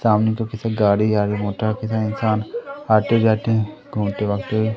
सामने देखो गाड़ी जा रही मोटर बिना इंसान आते जाते हैं घूमते भागते--